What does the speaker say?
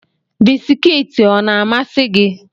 Bisikiiti ọ na-amasị gị?